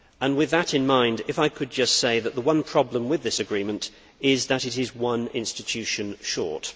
With that in mind, could I just say that the one problem with this agreement is that it is one institution short.